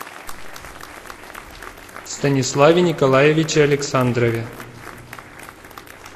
станиславе николаевиче александрове